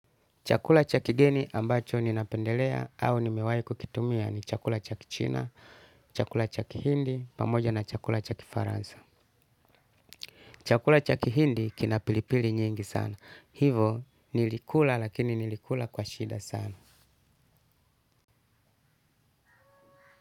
Chakula cha kigeni ambacho ninapendelea au nimewai kukitumia ni chakula cha kichina, chakula cha kihindi, pamoja na chakula cha kifaransa. Chakula cha kihindi kina pilipili nyingi sana. Hivo nilikula lakini nilikula kwa shida sana.